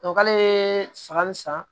k'ale ye san ni san